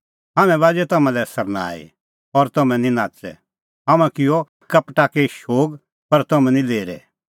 हाम्हैं बाज़ी तम्हां लै सरनाई और तम्हैं निं नाच़ै हाम्हैं किअ हिक्का पटाकी शोग पर तम्हैं निं लेरै